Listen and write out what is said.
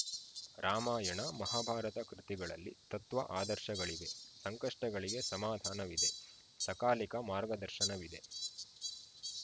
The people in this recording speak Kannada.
ರಾಮಾಯಣ ಮಹಾಭಾರತ ಕೃತಿಗಳಲ್ಲಿ ತತ್ವ ಆದರ್ಶಗಳಿವೆ ಸಂಕಷ್ಟಗಳಿಗೆ ಸಮಾಧಾನವಿದೆ ಸಕಾಲಿಕ ಮಾರ್ಗದರ್ಶನವಿದೆ